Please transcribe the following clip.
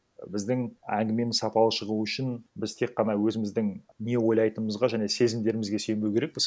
біздің әңгімеміз сапалы шығу үшін біз тек қана өзіміздің не ойлайтыңымызға жіне сезімдерімізге сүйенбеу керекпіз